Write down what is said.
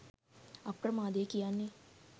අප්‍රමාදය කියන්නෙ